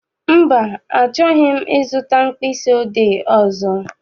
Mba, achọghị m I zụta mkpịsị odee ọzọ.